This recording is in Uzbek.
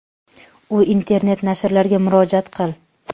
U internet nashrlarga murojaat qil .